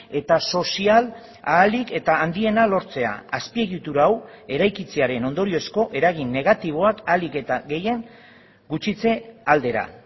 eta sozial ahalik eta handiena lortzea azpiegitura hau eraikitzearen ondoriozko eragin negatiboak ahalik eta gehien gutxitze aldera